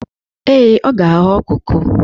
Ee, ọ ga-aghọ koko.